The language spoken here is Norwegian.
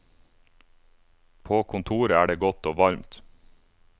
På kontoret er det godt og varmt.